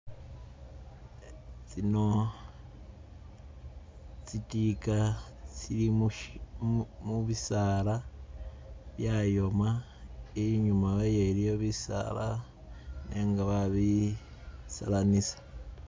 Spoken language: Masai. Tsino tsi'tika tsili mushi mubisaala byayoma, inyuma wayo iliyo bisaala nenga babisalanisa